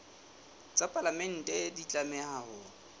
tsa palamente di tlameha ho